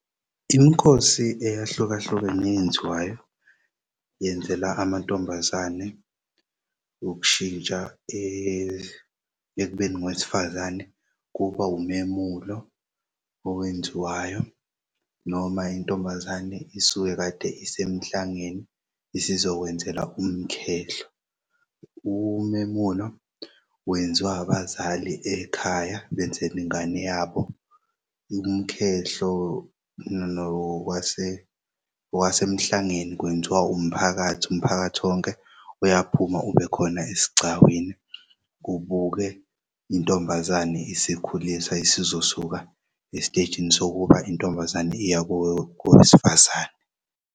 Imikhosi eyahlukahlukene eyenziwayo yenzelw'amantombazane ukushintsha ekubeni ngowesifazane kuba umemulo owenziwayo noma intombazane isuke kade isemhlangeni isizokwenzelwa umkhehlo. Umemulo wenziw'abazali ekhaya benzel'ngane yabo. Umkhehlo nokwasemhlangeni kwenziwa umphakathi, umphakathi wonke uyaphuma ubekhona esigcawini kubukwe intombazane isikhuliswa isizosuka esitejini sokuba intombazane iyakowesifazane.